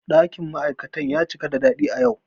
Ɗakin ma'aikata ya cika da daɗi a yau.